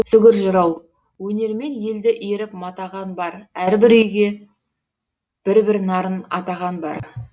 сүгір жырау өнермен елді иіріп матаған бар әрбір күйге бір бір нарын атаған бар